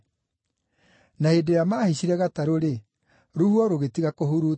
Na hĩndĩ ĩrĩa maahaicire gatarũ-rĩ, rũhuho rũgĩtiga kũhurutana.